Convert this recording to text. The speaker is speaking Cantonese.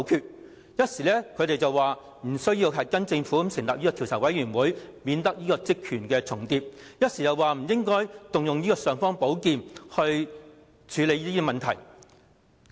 他們一時認為立法會無需跟從政府成立調查委員會，以免職權重疊，一時又說不應該動用這"尚方寶劍"來處理這些問題。